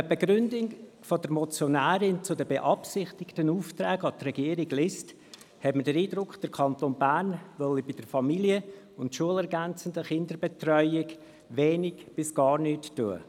Wenn man die Begründung der Motionärin zu den beabsichtigten Aufträgen an die Regierung liest, hat man den Eindruck, der Kanton Bern wolle bei der familien- und schulergänzenden Kinderbetreuung wenig bis gar nichts tun.